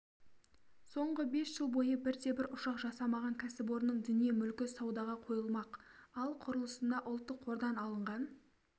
соңғы бес жыл бойы бірде-бір ұшақ жасамаған кәсіпорынның дүние-мүлкі саудаға қойылмақ ал құрылысына ұлттық қордан алынған